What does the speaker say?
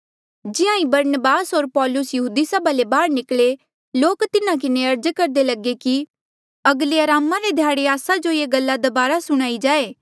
जिहां ई बरनबास होर पाैलुस यहूदी सभा ले बाहर निकले लोक तिन्हा किन्हें अर्ज करदे लगे कि अगले अरामा रे ध्याड़े आस्सा जो ये गल्ला दबारा सुणाई जाए